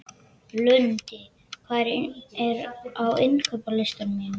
Lundi, hvað er á innkaupalistanum mínum?